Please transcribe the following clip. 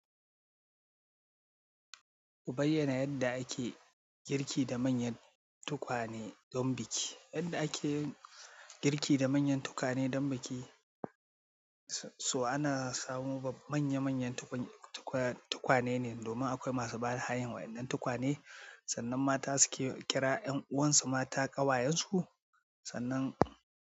Ku bayyana yadda ake girki da manyan tukwane don biki. Yadda ake girki da manyan tukwane don biki, so ana samo manya manyan tukwane ne domin akwai masu bada hayan waɗannan tukwane sannan mata suke kira ƴan uwansu mata, ƙawayensu sannan.